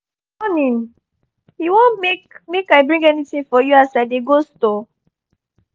morning! you want make make i bring anything for you as i dey go store?